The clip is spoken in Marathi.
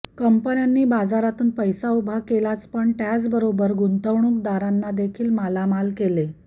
कंपन्यांनी बाजारातून पैसा उभा केलाच पण त्याचबरोबर गुंतवणूकदारांना देखील मालामाल केले